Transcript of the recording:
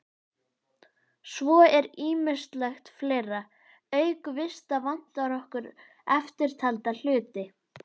Svo er ýmislegt fleira: Auk vista vantar okkur eftirtalda hluti